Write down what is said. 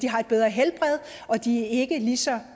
har et bedre helbred og at de ikke er lige så